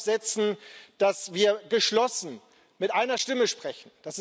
Wir müssen darauf setzen, dass wir geschlossen mit einer Stimme sprechen.